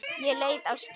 Ég leit á skýið.